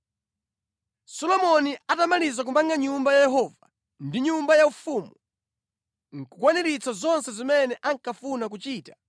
Solomoni atatsiriza kumanga Nyumba ya Yehova ndi nyumba yaufumu, ndi kukwaniritsa kuchita zonse zimene ankafuna,